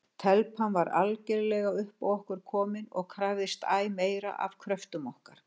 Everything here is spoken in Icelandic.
Telpan var algerlega upp á okkur komin og krafðist æ meira af kröftum okkar.